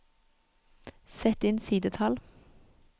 Sett inn sidetall